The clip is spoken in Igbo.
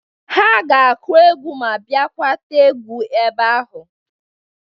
Ha ga-akụ egwu ma bịakwa tee egwu ebe ahu.